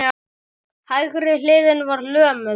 Hægri hliðin var lömuð.